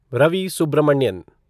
Ravi Subramanian